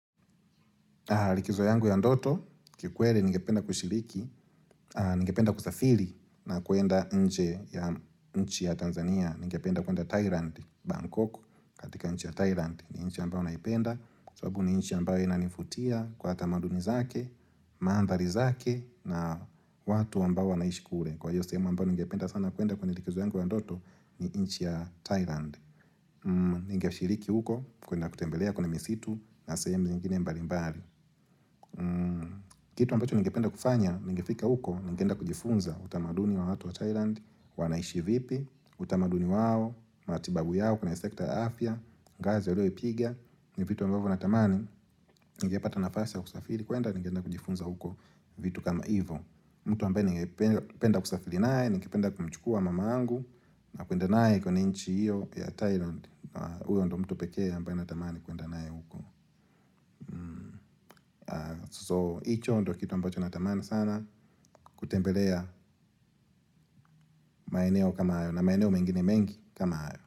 Likizo yangu ya ndoto, kikweli ningependa kushiriki, ningependa kusafiri na kuenda nje ya nchi ya Tanzania, ningependa kuenda Thailand, Bangkok, katika nchi ya Thailand, ni nchi ambao naipenda, sababu ni nchi ambao inanivutia kwa tamaduni zake, maandhari zake na watu ambao wanaishi kule. Kwa hiyo sehemu ambao ningependa sana kuenda kwenye likizo yangu ya ndoto ni nchi ya Thailand. Ningeshiriki huko, kuenda kutembelea kwenye misitu na sehemu nyingine mbali mbali. Kitu ambacho nigependa kufanya, ningefika huko, nigeenda kujifunza utamaduni wa watu wa Thailand, wanaishi vipi, utamaduni wao, matibabu yao, kwenye sekta ya afya, ngazi walioipiga, ni vitu ambacho natamani, ningepata nafasi ya kusafiri, kwenda ningeenda kujifunza huko vitu kama ivo. Mtu ambaye ningependa kusafiri naye, ningependa kumchukua mamangu, na kwenda naye kwenye nchi hiyo ya Thailand. Huyo ndo mtu pekee ambaye natamani kuenda naye huko So, hicho ndo kitu ambacho natamani sana kutembelea maeneo kama hayo na maeneo mengine mengi kama hayo.